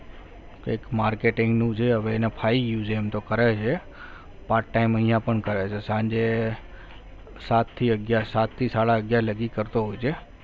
એક marketing નું છે હવે એને ફાવી ગયું છે એમ તો કરે છે part time અહીંયા પણ કરે છે સાંજે સાત થી અગિયાર સાત થી સાડા અગિયાર લાગી કરતો હોય છે.